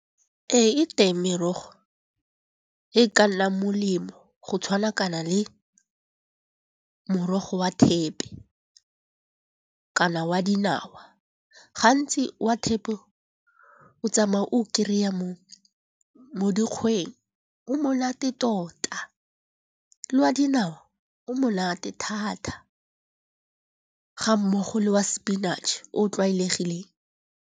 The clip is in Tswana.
Ee, e teng merogo e ka nnang molemo go tshwanakana le morogo wa thepi kana wa dinawa. Gantsi wa thepi o tsamaya o kry-a mo dikgweng. O monate tota le wa dinao o monate thata ga mmogo le wa spinach o tlwaelegileng.